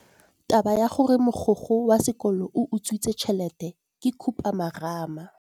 Taba ya gore mogokgo wa sekolo o utswitse tšhelete ke khupamarama.